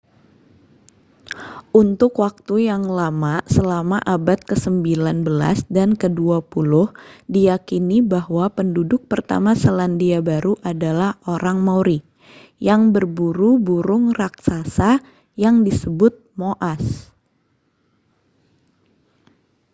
untuk waktu yang lama selama abad kesembilan belas dan kedua puluh diyakini bahwa penduduk pertama selandia baru adalah orang maori yang berburu burung raksasa yang disebut moas